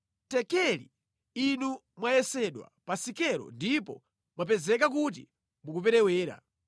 Tekeli: Inu mwayesedwa pa sikelo ndipo mwapezeka kuti mukuperewera.